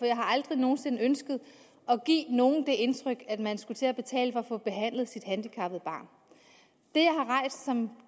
jeg har aldrig nogen sinde ønsket at give nogen det indtryk at man skulle til at betale for at få behandlet sit handicappede barn den